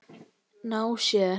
Ná sér?